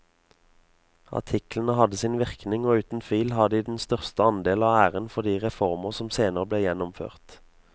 Artiklene hadde sin virkning og uten tvil har de den største andel av æren for de reformer som senere ble gjennomført.